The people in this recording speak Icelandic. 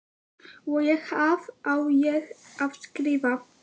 Og hvað á ég að skrifa?